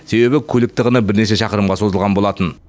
себебі көлік тығыны бірнеше шақырымға созылған болатын